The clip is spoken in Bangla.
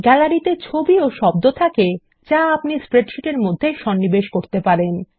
গ্যালারি তে ছবি ও শব্দ থাকে যা আপনি স্প্রেডশীট এর মধ্যে সন্নিবেশ করতে পারেন